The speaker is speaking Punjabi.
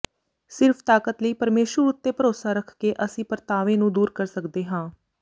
ਸਿਰਫ਼ ਤਾਕਤ ਲਈ ਪਰਮੇਸ਼ੁਰ ਉੱਤੇ ਭਰੋਸਾ ਰੱਖ ਕੇ ਅਸੀਂ ਪਰਤਾਵੇ ਨੂੰ ਦੂਰ ਕਰ ਸਕਦੇ ਹਾਂ